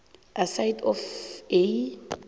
aside of a